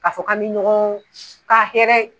Ka fɔ k'an bɛ ɲɔgɔn ka hɛrɛ